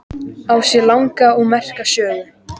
Á sér langa og merka sögu.